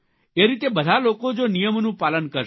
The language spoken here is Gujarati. એ રીતે બધા લોકો જો નિયમોનું પાલન કરશે